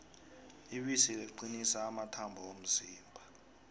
ibisi liqinisa amathambo womzimba